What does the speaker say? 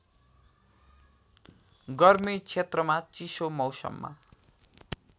गर्मी क्षेत्रमा चिसो मौसममा